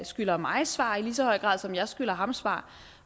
skylder mig svar i lige så høj grad som jeg skylder ham svar